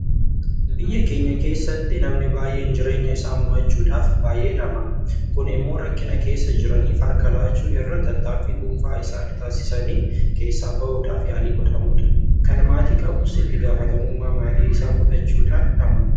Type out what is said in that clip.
Biyya keenya keessatti namni baay'een jireenya isaa mo'achuudhaaf baay'ee dhama'a. Kun immoo rakkina keessa jiraniif harka lachuu irra tattaaffii dhuunfaa isaanii taasisanii keessaa bahuudhaaf yaalii godhamudha. Kan maatii qabus itti gaafatamummaa maatii isaa fudhachuudhaan dhama'a.